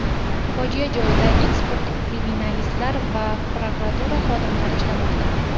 Fojia joyida ekspert-kriminalistlar va prokuratura xodimlari ishlamoqda.